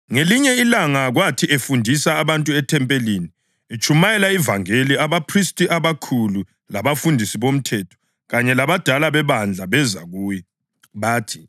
Ngelinye ilanga kwathi efundisa abantu ethempelini, etshumayela ivangeli, abaphristi abakhulu labafundisi bomthetho, kanye labadala bebandla beza kuye.